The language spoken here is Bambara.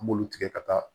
An b'olu tigɛ ka taa